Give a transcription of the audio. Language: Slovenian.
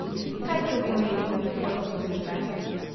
Kaj to pomeni za prihodnost družbe?